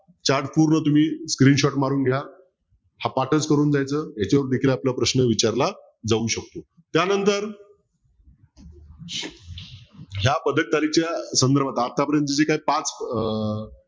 chart पूर्ण तुम्ही screenshot मारून घ्या हा पाठच करून जायचं याच्यावर देखील अपल्याला प्रश्न विचारला जाऊ शकतो. त्यांनंतर ज्या पदककारीच्या संधर्भात आत्ता पर्यंत जे काही पाच अह